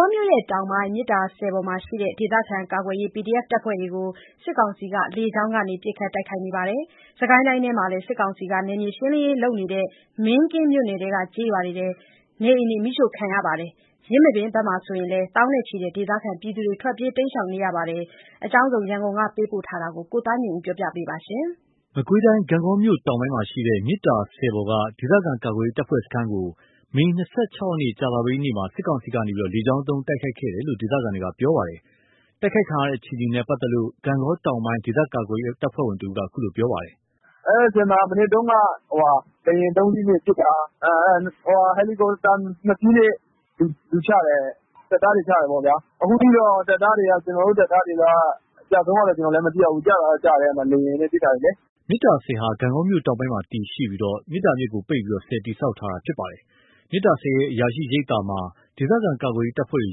ေါမြို့တောင်ပိုင်း မြစ်သာဆည်ပေါ်မှာရှိတဲ့ ဒေသခံကာကွယ်ရေးတပ်ဖွဲ့တွေကို စစ်ကောင်စီက လေကြောင်းကနေ ပစ်ခတ်တိုက်ခိုက်ခဲ့ပါတယ်။ စစ်ကိုင်းတိုင်းထဲမှာလည်း စစ်ကောင်စီက နယ်မြေရှင်းလင်းရေးလုပ်နေတဲ့ မင်းကင်းမြို့နယ်က ကျေးရွာတွေမှာ နေအိမ်တွေ မီးရှို့ခံရပြီး ယင်းမာပင်ဘက်မှာဆိုရင်လည်း သောင်းနဲ့ချီတဲ့ ဒေသခံတွေ ထွက်ပြေး တိမ်းရှောင်နေရပါတယ်။ ရန်ကုန်က ပေးပို့လာတဲ့သတင်း ကိုသားညွန့်ဦးက တင်ပြပေးထားပါတယ်။ မကွေးတိုင်းဒေသကြီး ဂန့်ဂေါမြို့တောင်ပိုင်းမှာရှိတဲ့ မြစ်သာဆည်ပေါ်က ဒေသခံကာကွယ်ရေး တပ်ဖွဲ့စခန်းကို မေ ၂၆ ရက် ကြာသပတေးနေ့မှာ စစ်ကောင်စီက လေကြောင်းသုံး တိုက်ခိုက်ခဲ့တယ်လို့ ဒေသခံတွေကပြောပါတယ်။ တိုက်ခိုက်ခံရတဲ့ အခြေအနေနဲ့ ပတ်သက်လို့ ဂန့်ဂေါ တောင်ပိုင်း ဒေသခံကာကွယ်ရေး တပ်ဖွဲ့ဝင်တဦးက အခုလိုပြောပါတယ်။ “အဲဒီဆည်မှာ မနက်တုန်းက လေယာဉ် ၃ စီးနဲ့ပစ်တာ။ ဟယ်လီကော်ပတာ ၂ စီးနဲ့ လူချတယ်။ စစ်သားတွေ ချတယ်ပေါ့ဗျာ။ အခုထိတော့ ကျနော်တို့တပ်သားတွေ အကျအဆုံးတော့မသိရသေးဘူး။ ကျတာတော့ ကျတယ်။ အဲဒီမှာ လေယာဉ်နဲ့ပစ်တာလေ။” မြစ်သာဆည်ဟာ ဂန့်ဂေါမြို့တောင်ပိုင်းမှာ တည်ရှိပြီး မြစ်သာမြစ်ကိုပိတ်ပြီး ဆည်တည်ဆောက် ထားတာ ဖြစ်ပါတယ်။ မြစ်သာဆည်ရဲ့ အရာရှိရိပ်သာမှာ ဒေသခံကာကွယ်ရေး တပ်ဖွဲ့တွေ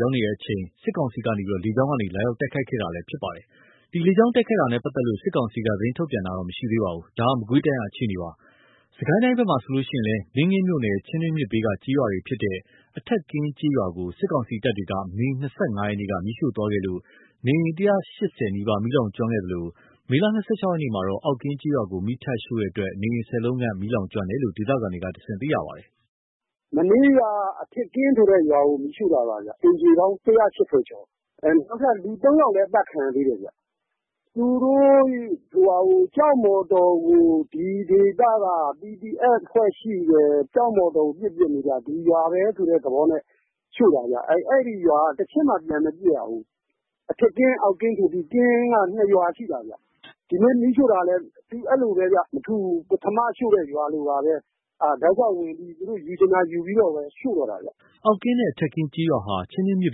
ရောက်ရှိနေချိန် စစ်ကောင်စီက လေကြောင်းကနေ လာရောက်တိုက်ခိုက်ခဲ့တာလည်း ဖြစ်ပါတယ်။ ဒီလေကြောင်း တိုက်ခိုက်တာနဲ့ ပတ်သက်လို့ စစ်ကောင်စီက သတင်းထုတ်ပြန်တာတော့ မရှိသေးပါဘူး။ ဒါက မကွေးတိုင်းက အခြေအနေပါ။ စစ်ကိုင်းတိုင်းဘက်မှာဆိုရင်လည်း မင်းကင်းမြို့နယ် ချင်းတွင်းမြစ်ဘေးက ကျေးရွာဖြစ်တဲ့ အထက်ကင်းကျေးရွာကို စစ်ကောင်စီတပ်တွေက မေလ ၂၅ က မီးရှို့သွားခဲ့လို့ နေအိမ် ၁၈၀ နီးပါး မီးလောင်ကျွမ်းခဲ့သလို မေလ ၂၆ ရက်မှာတော့ အောက်ကင်းကျေးရွာကို မီးထပ်ရှို့တဲ့အတွက် နေအိမ် ၁၀ လုံးခန့် မီးလောင်ကျွမ်းခဲ့တယ်လို့ ဒေသခံတွေကတဆင့် သိရပါတယ်။ “မနေ့က အထက်ကင်းဆိုတဲ့ရွာကို မီးရှို့တာပါ။ အိမ်ခြေပေါင်းက ၁၈၀ ကျော်တယ်။ နောက်ထပ် ၃ ယောက်လည်း အသတ်ခံရသေးတယ်။ သူတို့ ကျောက်မော်တော်ကို ဒီဒေသက PDF ရှိတယ်၊ ကျောက်မော်တော်ကို ပစ်တာ။ ဒီရွာပဲဆိုတဲ့ သဘောနဲ့ ရှို့တာဗျ။ အဲ့ဒီရွာက တချက်မှ ပြန်မပစ်ရဘူး။ အထက်ကင်း အောက်ကင်းဆိုပြီး ကင်းက ၂ ရွာရှိတာဗျ။ ဒီနေ့ မီးရှို့တာလည်း အဲ့လိုပဲဗျ။ မထူးဘူး။ ပထမရှို့တဲ့ ရွာလိုပါပဲ၊ တောက်လျှောက်ဝင်ပြီး သူတို့ယူချင်တာယူပြီးတော့ပဲရှို့တော့တာဗျ။” အောက်ကင်းနဲ့ အထက်ကင်းကျေးရွာဟာ ချင်းတွင်း မြစ်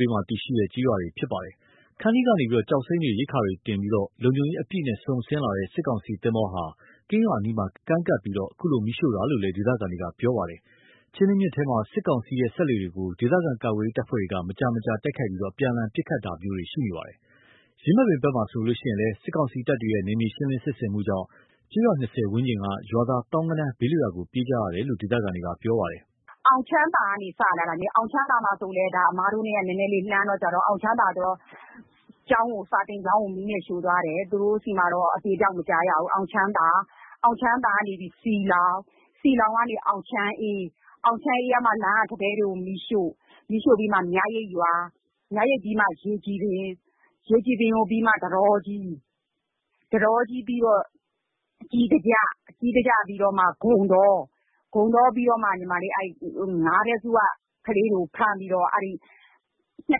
ဘေးမှာ တည်ရှိတဲ့ ကျေးရွာတွေလည်း ဖြစ်ပါတယ်။ ခန္တီးကနေ ကျောက်စိမ်းတွေ၊ ရိက္ခာတွေ တင်ဆောင်ပြီး လုံခြုံရေးအပြည့်နဲ့ စုန်ဆင်းလာတဲ့ စစ်ကောင်စီသင်္ဘောဟာ ကင်းရွာအနီးမှာကမ်းကပ်ပြီး အခုလို မီးရှို့တာလို့လည်း ဒေသခံတွေက ပြောပါတယ်။ ချင်းတွင်းမြစ်ထဲမှာ စစ်ကောင်စီရဲ့ စက်လှေတွေကို ဒေသခံ ကာကွယ်ရေး တပ်ဖွဲ့တွေက မကြာခဏတိုက်ခိုက်ပြီး အပြန်အလှန် ပစ်ခတ်ကြတာတွေလည်းရှိနေပါတယ်။ ယင်းမာပင်ဘက်မှာဆိုရင်လည်း စစ်ကောင်စီတပ်တွေရဲ့ နယ်မြေရှင်းလင်းစစ်ဆင်မှုကြောင့် ကျေး ရွာ၂၀ ဝန်းကျင်က ရွာသား သောင်းဂဏန်းဘေးလွတ်ရာကို ပြေးကြရတယ်လို့ ဒေသခံတွေပြောပါတယ်။ “အောင်ချမ်းသာကနေ စလာတာ၊ အောင်ချမ်းသာက အမတို့နဲ့ နည်းနည်းလှမ်းတယ်။ အောင်ချမ်းသာမှက စာသင်ကျောင်းကိုပါ မီးနဲ့ ရှို့သွားတယ်။ အဲ့ဒီမှာ အသေအပျောက်တော့ မကြားရဘူး။ အောင်ချမ်းသာကနေပြီး စည်လှောင်၊ စည်လှောင်ကနေ အောင်ချမ်းအေး၊ အောင်ချမ်းအေးကမှ လမ်းက ထန်းတဲတွေကို မီးရှို့။ အဲ့ကနေမှ မြရိပ်ရွာ၊ မြရိပ်ပြီးမှ ရေကြည်ပင်၊ ထန်းတောကြီး၊ ထန်းတောကြီးပြီးတော့ ကြေးစာကျ၊ ကြေးစာကျပြီးတော့မှ ဂုန်တော၊ ဂုန်တောပြီးတော့မှ ငါးတဲ့စုရွာက ကလေးတွေကို ဖမ်းပြီးတော့ ၂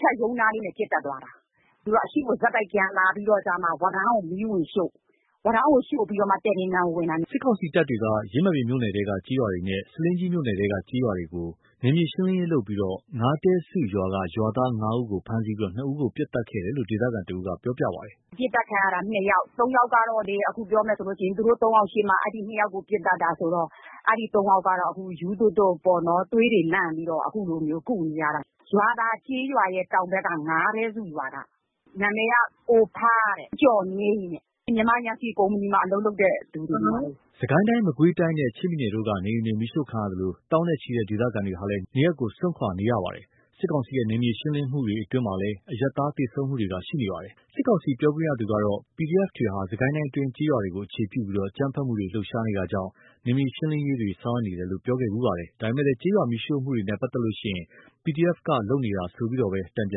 ထပ်ရုံးနားလေးမှာ ပစ်သတ်သွားတာ။ သူတို့က အရှေ့ကို ဆက်တိုက်လာပြီးတော့မှ ဝါးတန်းကို မီးဝင်ရှို့။ ဝါးတန်းကို ရှို့ပြီးတော့မှ တည်ပင်ကန်ကို ဝင်တာ။” စစ်ကောင်စီတပ်တွေက ယင်းမာပင်မြို့နယ်ထဲက ကျေးရွာတွေနဲ့ ဆားလင်းကြီးမြို့နယ်ထဲက ကျေးရွာတွေကိုပါ နယ်မြေရှေင်းလင်းရေးလုပ်ပြီး ငါးတဲစုရွာက ရွာသား ၅ ဦးကို ဖမ်းဆီးပြီး ၂ ဦးကို ပစ်သတ်ခဲ့တယ်လို့ ဒေသခံတဦးက ခုလိုပြောပါတယ်။ “ပစ်သတ်ခံရတာ ၂ ယောက်။ ၃ ယောက်ကတော့ ပြောရမယ်ဆိုရင် အဲ့ ၃ ယောက်ရှေ့မှာ ၂ ယောက်ကို ပစ်သတ်တာဆိုတော့ အဲ့ ၃ ယောက်ကတော့ ခု ရူးသွပ်သွပ်ပေါ့နော်။ သွေးလန့်ပြီးတော့ ခုကုနေရတယ်။ ရွာသာကျေးရွာရဲ့တောင်ဘက် ငါးတဲစုရွာက၊ နာမည်က ကိုဖား၊ ဦးကျော်ငြိမ်းတဲ့။ မြန်မာယမ်စီကုမ္ပဏီမှာ အလုပ်လုပ်တဲ့ သူတွေ။” စစ်ကိုင်းတိုင်း မကွေးတိုင်းနဲ့ ချင်းပြည်နယ်တို့က နေအိမ်တွေ မီးရှို့ခံရသလို သောင်းနဲ့ချီတဲ့ ဒေသခံတွေဟာလည်း နေရပ်ကို စွန့်ခွာနေကြရပြီး စစ်ကောင်စီရဲ့ နယ်မြေရှင်းလင်းမှုတွေအတွင်း အရပ်သားတွေ သေဆုံးမှုတွေလည်းရှိနေပါတယ်။ စစ်ကောင်စီပြောခွင့်ရသူကတော့ PDF တွေဟာ စစ်ကိုင်းတိုင်းအတွင်း ကျေးရွာတွေကို အခြေပြုပြီး အကြမ်းဖက်မှုတွေ လှုပ်ရှားနေတာကြောင့်၊ နယ်မြေရှင်းလင်းရေးတွေ ဆောင်ရွက်နေတယ်လို့ ပြောခဲ့ဖူပါတယ်။ ဒါပေမယ့် ကျေးရွာမီးရှို့မှုတွေနဲ့ပတ်သက်ရင်၊ PDF ဘက်က လုပ်နေတာဆိုပြီးတော့လည်း စစ်ကောင်စီဘက်က တန်ပြ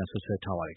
န်စွပ်စွဲထားပါတယ်